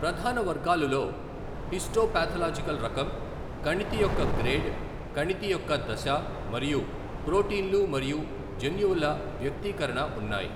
ప్రధాన వర్గాలులో హిస్టోపాథలాజికల్ రకం, కణితి యొక్క గ్రేడ్, కణితి యొక్క దశ మరియు ప్రోటీన్లు మరియు జన్యువుల వ్యక్తీకరణ ఉన్నాయ్.